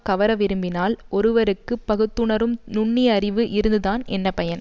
கவர விரும்பினால் ஒருவருக்கு பகுத்துணரும் நுண்ணிய அறிவு இருந்துதான் என்ன பயன்